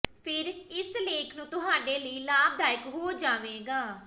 ਫਿਰ ਇਸ ਲੇਖ ਨੂੰ ਤੁਹਾਡੇ ਲਈ ਲਾਭਦਾਇਕ ਹੋ ਜਾਵੇਗਾ